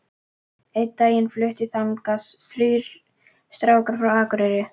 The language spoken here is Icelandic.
Einn daginn fluttu þangað þrír strákar frá Akureyri.